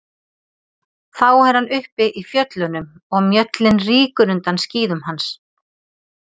Þá er hann uppi í fjöllunum og mjöllin rýkur undan skíðum hans.